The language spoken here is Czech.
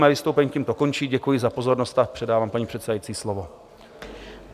Mé vystoupení tímto končí, děkuji za pozornost a předávám paní předsedající slovo.